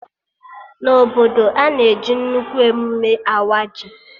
Na obodo, a na-eji nnukwu emụme awa ji